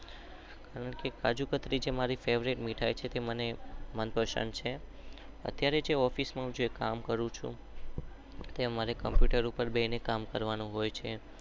કાજુકતરી છે જે મારી ફેવરીટ છે અત્યારે ઓફીસ પોક્યો ચુ.